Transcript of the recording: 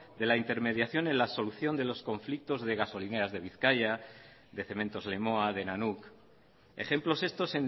de la intermediación en la solución de los conflictos de gasolineras de bizkaia de cementos lemoa de nanuk ejemplos estos